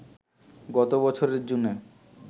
গত বছরের জুনে